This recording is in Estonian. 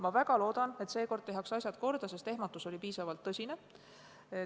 Ma väga loodan, et seekord tehakse asjad korda, sest ehmatus oli piisavalt tõsine.